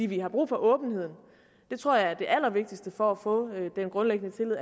vi har brug for åbenheden jeg tror at det allervigtigste for at få den grundlæggende tillid